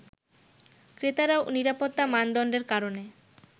ক্রেতারাও নিরাপত্তা মানদণ্ডের কারণে